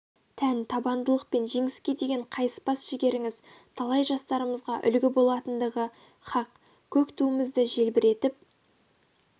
тән табандылық пен жеңіске деген қайыспас жігеріңіз талай жастарымызға үлгі болатындығы хақ көк туымызды желбіретіп